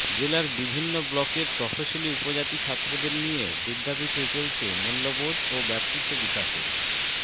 জেলার বিভিন্ন ব্লকের তফসিলি উপজাতি ছাত্রদের নিয়ে বিদ্যাপীঠে চলছে মূল্যবোধ ও ব্যক্তিত্ব বিকাশের